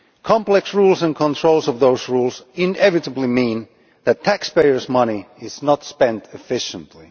Complex rules and controls of those rules inevitably mean that taxpayers' money is not spent efficiently.